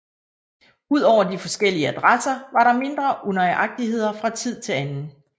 Udover de forskellige adresser var der mindre unøjagtigheder fra tid til anden